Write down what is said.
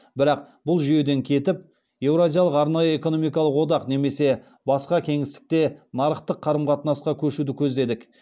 бірақ бұл жүйеден кетіп еуразиялық арнайы экономикалық одақ немесе басқа кеңістікте нарықтық қарым қатынасқа көшуді көздедік